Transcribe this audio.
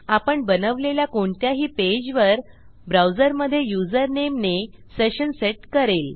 आपण बनवलेल्या कोणत्याही पेजवर ब्राऊजरमधे युजरनेमने सेशन सेट करेल